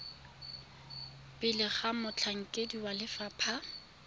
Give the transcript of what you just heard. pele ga motlhankedi wa lefapha